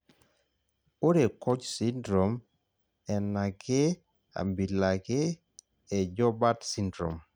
ore COACH syndrome enake abila ake e joubert syndrome